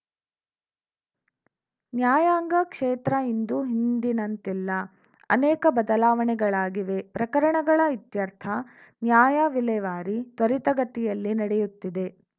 ನ್ಯಾಯಾಂಗ ಕ್ಷೇತ್ರ ಇಂದು ಹಿಂದಿನಂತಿಲ್ಲ ಅನೇಕ ಬದಲಾವಣೆಗಳಾಗಿವೆ ಪ್ರಕರಣಗಳ ಇತ್ಯರ್ಥ ನ್ಯಾಯ ವಿಲೇವಾರಿ ತ್ವರಿತಗತಿಯಲ್ಲಿ ನಡೆಯುತ್ತಿದೆ